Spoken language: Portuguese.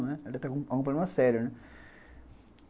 Ela deve teve algum problema sério, né.